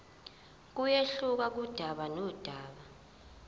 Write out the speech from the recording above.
kuyehluka kudaba nodaba